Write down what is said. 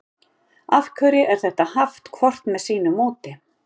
af hverju er þetta haft hvort með sínu móti